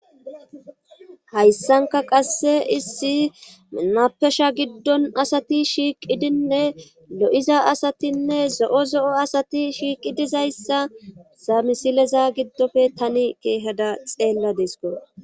Hayssanka qasse issi mapesha giddon asati shiiqidinne lo'iza asatinne zo'o zo'o asati shiiqi dizayssa samisileza giddofe tani keehada xeella desko.